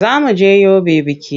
Za mu je Yobe biki.